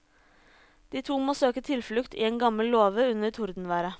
De to må søke tilflukt i en gammel låve under tordenværet.